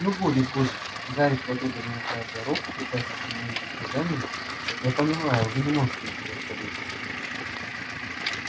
ну будет будет гарри схватил домовика за руку пытаясь остановить истязание я понимаю вы не можете ничего сказать